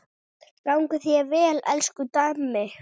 Gangi þér vel, elsku Dammi.